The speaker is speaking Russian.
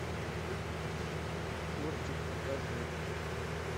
кортик покажи